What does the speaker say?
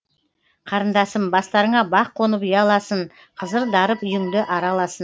қарындасым бастарыңа бақ қонып ұяласын қызыр дарып үйіңді араласын